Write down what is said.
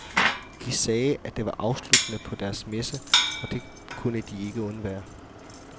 De sagde, at det var afslutningen på deres messe, og det kunne de ikke undvære.